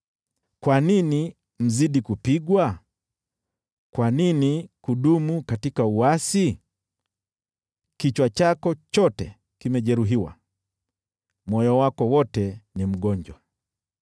Kwa nini mzidi kupigwa? Kwa nini kudumu katika uasi? Kichwa chako chote kimejeruhiwa, moyo wako wote ni mgonjwa.